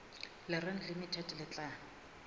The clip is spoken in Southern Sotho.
le reng limited le tla